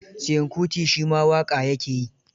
Seun Kuti shi ma waƙa ya ke yi.